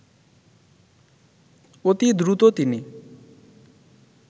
অতি দ্রুত তিনি